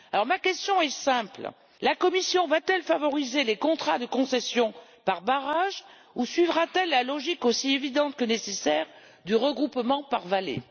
Ma question est alors simple la Commission va-t-elle favoriser les contrats de concession par barrage ou suivra-t-elle la logique aussi évidente que nécessaire du regroupement par vallée?